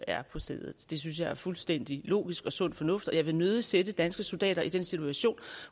er på stedet det synes jeg er fuldstændig logisk og sund fornuft og jeg vil nødig sætte danske soldater i den situation